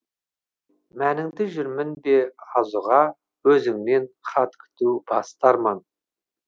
мәніңді жүрмін бе аз ұға өзіңнен хат күту басты арман